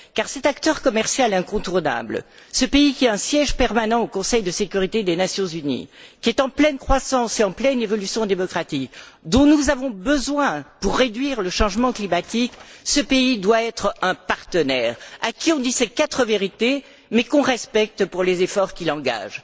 Car cet acteur commercial incontournable, ce pays qui a un siège permanent au Conseil de sécurité des Nations unies, qui est en pleine croissance et en pleine évolution démocratique, dont nous avons besoin pour lutter contre le changement climatique, ce pays doit être un partenaire, à qui on dit ses quatre vérités, mais qu'on respecte pour les efforts qu'il engage.